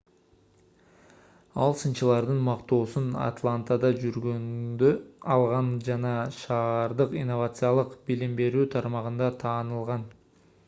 ал сынчылардын мактоосун атлантада жүргөндө алган жана шаардык инновациялык билим берүү тармагында таанылган